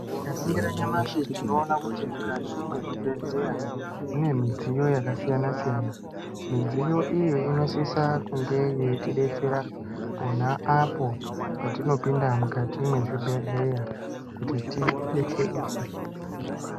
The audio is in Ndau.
Tikaningira nyamashi tinoona kuti mukati mezvibhedhlera mune midziyo yakasiyana-siyana. Midziyo iyi inosisa kunga yeitidetsera pona apo patinopinda mukati mezvibhedhlera kuti tidetsereke.